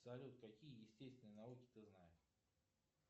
салют какие естественные науки ты знаешь